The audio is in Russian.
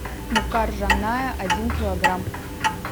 мука ржаная один килограмм